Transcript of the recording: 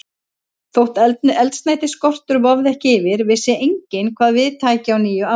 Þótt eldsneytisskortur vofði ekki yfir, vissi enginn, hvað við tæki á nýju ári.